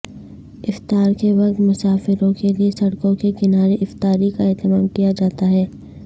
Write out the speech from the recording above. افطار کے وقت مسافروں کے لیے سڑکوں کے کنارے افطاری کا اہتمام کیا جاتا ہے